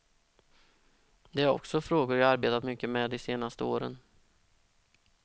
Det är också frågor jag arbetat mycket med de senaste åren.